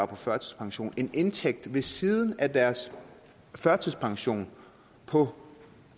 på førtidspension en indtægt ved siden af deres førtidspension på